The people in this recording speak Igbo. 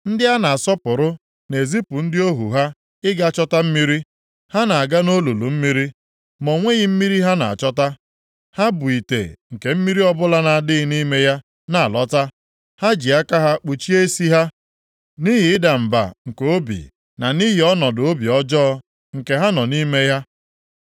Ndị a na-asọpụrụ na-ezipụ ndị ohu ha ịga chọta mmiri. Ha na-aga nʼolulu mmiri ma o nweghị mmiri ha na-achọta. Ha bu ite nke mmiri ọbụla na-adịghị nʼime ya na-alọta. Ha ji aka ha kpuchie isi ha nʼihi ịda mba nke obi na nʼihi ọnọdụ obi ọjọọ nke ha nọ nʼime ya.